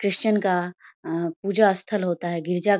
Christian का अ पूजा स्थल होता है गिरजा --